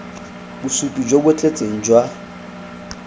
bosupi jo bo tletseng jwa